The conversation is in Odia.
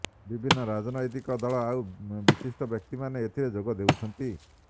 ବିଭିନ୍ନ ରାଜନୈତିକ ଦଳ ଆଉ ବିଶିଷ୍ଟ ବ୍ୟକ୍ତିମାନେ ଏଥିରେ ଯୋଗ ଦେଉଛନ୍ତି